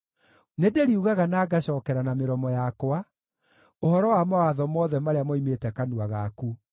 Nĩndĩriugaga na ngacookera na mĩromo yakwa ũhoro wa mawatho mothe marĩa moimĩte kanua gaku.